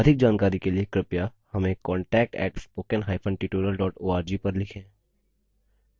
अधिक जानकारी के लिए कृपया हमें contact @spoken hyphen tutorial org पर लिखें